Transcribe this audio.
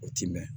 O t'i mɛn